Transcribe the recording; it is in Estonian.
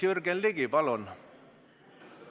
Jürgen Ligi, palun!